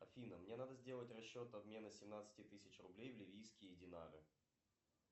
афина мне надо сделать расчет обмена семнадцати тысяч рублей в ливийские динары